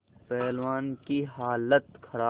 पहलवान की हालत खराब